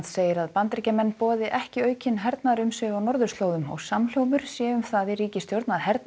segir að Bandaríkjamenn boði ekki aukin hernaðarumsvif á norðurslóðum og samhljómur sé um það í ríkisstjórn að